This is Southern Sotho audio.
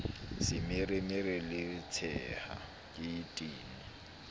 semeremere le tshea ke tene